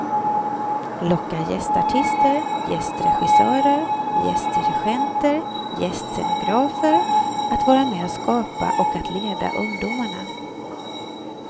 Locka gästartister, gästregissörer, gästdirigenter, gästscenografer att vara med och skapa och att leda ungdomarna.